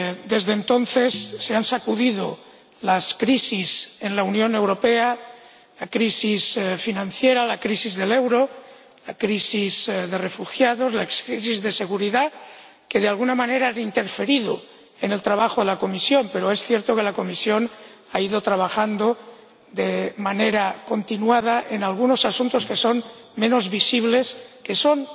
Desde entonces, se han sacudido las crisis en la Unión Europea la crisis financiera, la crisis del euro, la crisis de los refugiados o las crisis de seguridad, que de alguna manera han interferido en el trabajo de la Comisión, pero es cierto que la Comisión ha ido trabajando de manera continuada en algunos asuntos que son menos visibles, que son